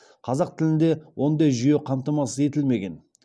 қазақ тілінде ондай жүйе қамтамасыз етілмеген